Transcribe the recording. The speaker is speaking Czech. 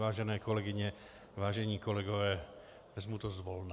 Vážené kolegyně, vážení kolegové, vezmu to zvolna.